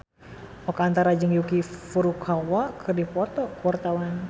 Oka Antara jeung Yuki Furukawa keur dipoto ku wartawan